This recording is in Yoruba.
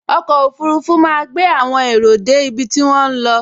Ọkọ̀ ọfurufú máa gbé àwọn èrò dé ibi tí wọ́n ń lọ